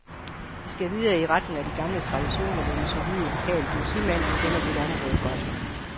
Vi skal videre i retningen af de gamle traditioner med den solide, lokale politimand, der kender sit område godt.